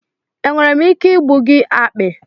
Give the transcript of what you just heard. Enwere m ike igbu gị akpị?